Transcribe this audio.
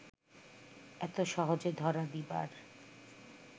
এত সহজে ধরা দিবার